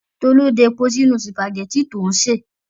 Tolú da epo sínú sìpàgẹ́tì tó ń sè.